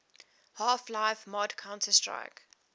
half life mod counter strike